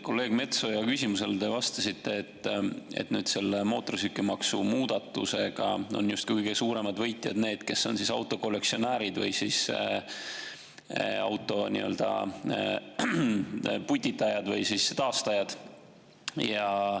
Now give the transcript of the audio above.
Kolleeg Metsoja küsimusele te vastasite, et mootorsõidukimaksu muudatusega on justkui kõige suuremad võitjad need, kes on autokollektsionäärid või auto putitajad või taastajad.